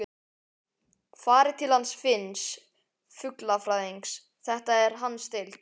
Farið til hans Finns fuglafræðings, þetta er hans deild.